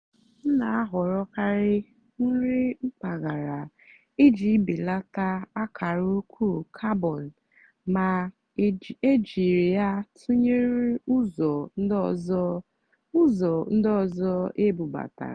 m nà-àhọ̀rọ́karị́ nrì mpàgàrà ìjì bèlátá àkàrà ụ́kwụ́ càrbón mà é jìrí yá tụ́nyeré ụ́zọ̀ ndí ọ́zọ́ ụ́zọ̀ ndí ọ́zọ́ ébúbátàrá.